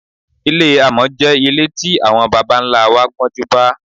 Ilé àmò̩ jé̩ ilé tí àwo̩n baba-ńlá wa gbó̩júnbá.